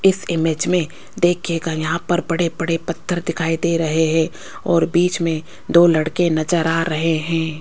इस इमेज में देखीयेगा यहाँ पर बड़े बड़े पत्थर दिखाई दे रहे हैं और बीच में दो लड़के नजर आ रहे है।